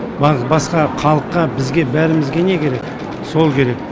басқа халыққа бізге бәрімізге не керек сол керек